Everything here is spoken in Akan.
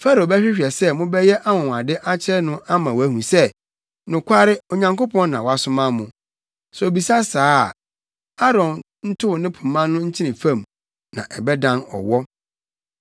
“Farao bɛhwehwɛ sɛ mobɛyɛ anwonwade akyerɛ no ama wahu sɛ, nokware, Onyankopɔn na wasoma mo. Sɛ obisa saa a, Aaron ntow ne pema no nkyene fam na ɛbɛdan ɔwɔ.”